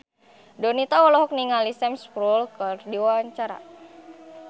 Donita olohok ningali Sam Spruell keur diwawancara